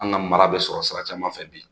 An ka mara bɛ sɔrɔ sira caman fɛ bi